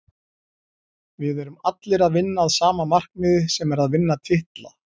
Við erum allir að vinna að sama markmiði sem er að vinna titla.